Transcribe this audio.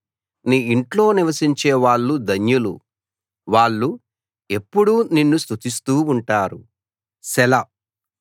నీ ఇంట్లో నివసించేవాళ్ళు ధన్యులు వాళ్ళు ఎప్పుడూ నిన్ను స్తుతిస్తూ ఉంటారు సెలా